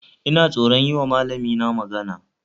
Ina tsoron yiwa malamina magana